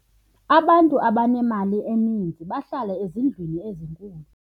abantu abanemali eninzi bahlala ezindlwini ezinkulu